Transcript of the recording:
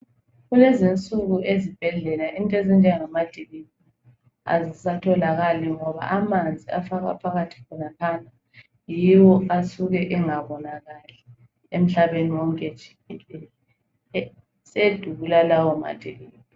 Kulezinsuku ezibhedlela into ezinjengamajekiseni azisatholakali ngoba amanzi afakwa phakathi khonaphana, yiwo asuke engabonakali emhlabeni wonke jikelele, sedula lawo majejiseni.